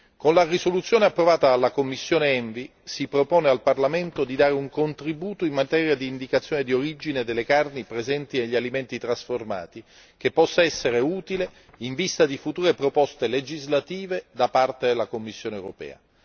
Con la risoluzione approvata dalla commissione ENVI si propone al Parlamento di dare un contributo in materia di indicazione di origine delle carni presenti negli alimenti trasformati, che possa essere utile in vista di future proposte legislative da parte della Commissione europea.